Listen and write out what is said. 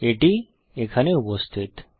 এটি এখানে উপস্থিত